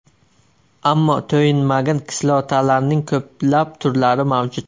Ammo to‘yinmagan kislotalarning ko‘plab turlari mavjud.